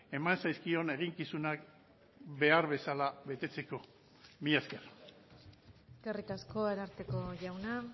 eman zaizkion eginkizunak behar bezala betetzeko mila esker eskerrik asko ararteko jauna